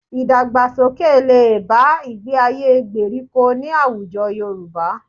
Ìdàgbàsókè lè bá ìgbé-ayé gbèríko ní àwùjọ Yorùbá